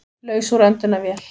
Laus úr öndunarvél